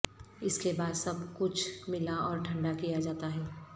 اس کے بعد سب کچھ ملا اور ٹھنڈا کیا جاتا ہے